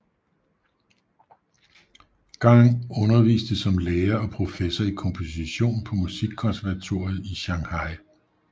Gang underviste som lærer og professor i komposition på Musikkonservatoriet i Shanghai